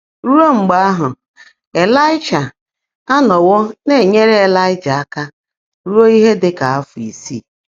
Rúó mgbe áhụ́, Ị́láị́shà ánọ́wó ná-ènyèèré Ị́láị́jà áká rúó íhe ḍị́ kà áfọ́ ísii.